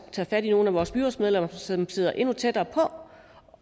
tager fat i nogle af vores byrådsmedlemmer som sidder endnu tættere